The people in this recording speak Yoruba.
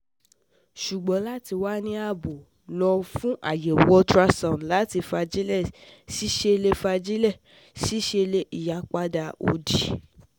Ṣùgbọ́n lati wà ní ààbò, lo fun ayewo ultrasound ẹ̀dọ̀ lati fagile sisele fagile sisele iyipada odi